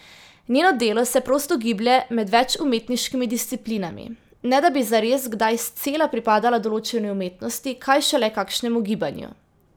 Njeno delo se prosto giblje med več umetniškimi disciplinami, ne da bi zares kdaj scela pripadala določeni umetnosti, kaj šele kakšnemu gibanju.